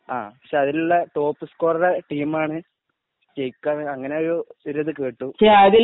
പക്ഷെ അതിലുള്ള ടോപ് സ്കോറിലെ ടീമാണ് ജയിക്കുക അങ്ങനെ ഒരു ഇതു കേട്ടു